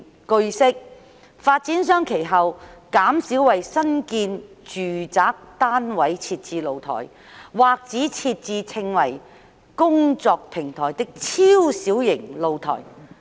據悉，發展商其後減少為新建住宅單位設置露台，或只設置稱為"工作平台"的超小型露台。